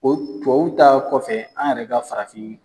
O tubabu ta kɔfɛ, an yɛrɛ ka farafin